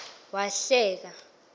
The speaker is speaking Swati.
wahleka